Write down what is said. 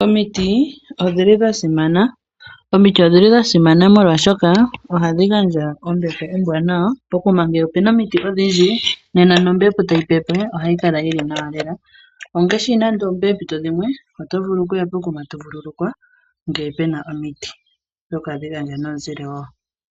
Omiti odhili dha simana. Omiti odhili dha simana molwashoka ohadhi gandja ombepo ombwanawa. Pokuma ngele opuna omiti odhindji nena nombepo tayi pepe ohayi kala yili nawa lela. Ongaashi nande poompito dhimwe oto vulu kuya pokuma ndele to vululukwa ngele pena omiti oshoka ohadhi gandja omuzile wo.